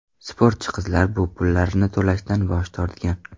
Sportchi qizlar bu pullarni to‘lashdan bosh tortgan.